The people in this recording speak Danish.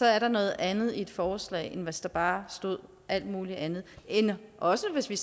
er noget andet i et forslag end hvis der bare stod alt muligt andet også hvis vi